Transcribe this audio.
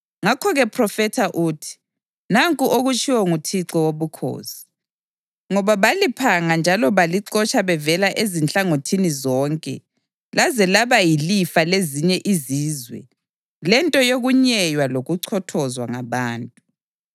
Ngakho-ke phrofetha uthi, ‘Nanku okutshiwo nguThixo Wobukhosi: Ngoba baliphanga njalo balixotsha bevela ezinhlangothini zonke laze laba yilifa lezinye izizwe lento yokunyeywa lokuchothozwa ngabantu,